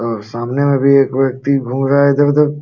और सामने में भी एक व्यक्ति घूम रहा इधर उधर।